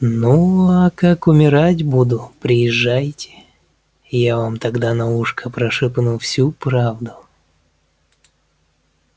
ну а как умирать буду приезжайте я вам тогда на ушко прошепну всю правду